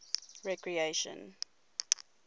recreation